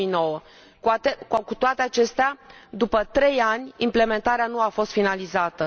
2009. Cu toate acestea, după 3 ani, implementarea nu a fost finalizată.